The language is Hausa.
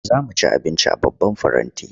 Za mu ci abinci a babban faranti.